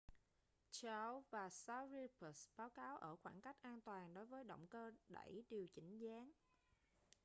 chiao và sharipov báo cáo ở khoảng cách an toàn đối với động cơ đẩy điều chỉnh dáng